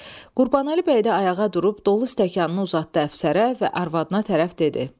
Qurbanəli bəy də ayağa durub dolu stəkanını uzatdı əfsərə və arvadına tərəf dedi.